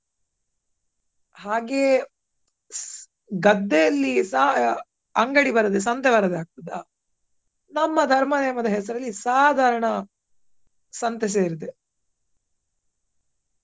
ಹಾಗೆಯೇ ಗದ್ದೆಯಲ್ಲಿಸ ಅಂಗಡಿ ಬರದೇ ಸಂತೆ ಬರದೇ ಆಗ್ತದ. ನಮ್ಮ ಧರ್ಮ ನೇಮ ದ ಹೆಸರಲ್ಲಿ ಸಾಧಾರಣ ಸಂತೆ ಸೇರಿದೆ.